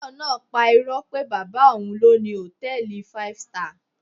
Tayo náà pa irọ́ pé bàbá òun ló ni hòtẹ́ẹ̀lì five star